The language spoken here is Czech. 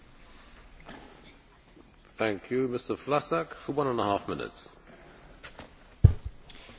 Jednou z klíčových otázek, která před námi v oblasti dopravy stojí, je, jak řešit dopravu ve městech.